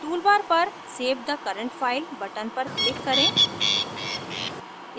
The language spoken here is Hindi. toolbar पर save the current file button पर click करें